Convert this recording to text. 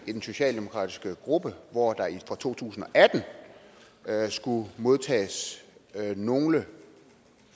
i den socialdemokratiske gruppe hvor der for to tusind og atten skulle modtages nogle